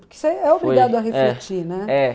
Porque você é obrigado a refletir, né?